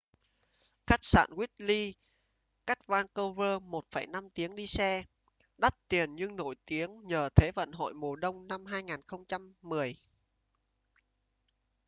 khách sạn whistler cách vancouver 1,5 tiếng đi xe đắt tiền nhưng nổi tiếng nhờ thế vận hội mùa đông năm 2010